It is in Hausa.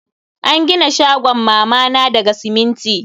An gina shagon mama na daga siminti.